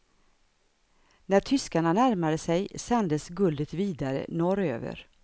När tyskarna närmade sig sändes guldet vidare norröver.